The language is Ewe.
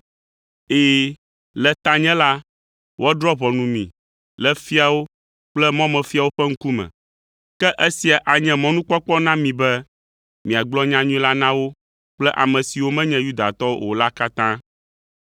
Ɛ̃, le tanye la, woadrɔ̃ ʋɔnu mi le fiawo kple mɔmefiawo ƒe ŋkume. Ke esia anye mɔnukpɔkpɔ na mi be miagblɔ nyanyui la na wo kple ame siwo menye Yudatɔwo o la katã.